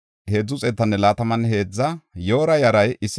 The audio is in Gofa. Ramanne Gib7a asay 621;